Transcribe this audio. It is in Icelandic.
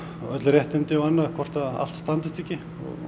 öll réttindi og annað hvort allt standist ekki